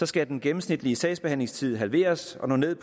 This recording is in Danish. skal den gennemsnitlige sagsbehandlingstid halveres og nå ned